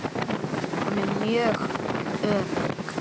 Hún er mjög örugg.